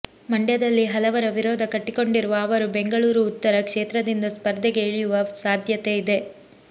ಮಂಡ್ಯದಲ್ಲಿ ಹಲವರ ವಿರೋಧ ಕಟ್ಟಿಕೊಂಡಿರುವ ಅವರು ಬೆಂಗಳೂರು ಉತ್ತರ ಕ್ಷೇತ್ರದಿಂದ ಸ್ಪರ್ಧೆಗೆ ಇಳಿಯುವ ಸಾಧ್ಯತೆ ಇದೆ